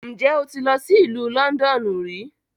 Njẹ o ti lọ si Ilu Lọndọnu ri?